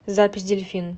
запись дельфин